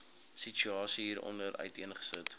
situasie hieronder uiteengesit